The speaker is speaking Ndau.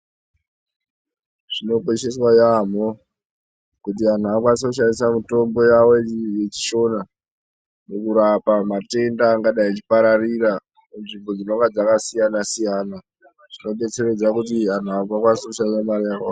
Zvinokosheswa yaamho kuti anhu akwanise kushandisa mitombo yavo yechishona mukurapa matenda angadai echipararira munzvimbo dzakasiyana-siyana. Zvinodetseredza kuti anhu asakwanisa kushandise mare yakawanda.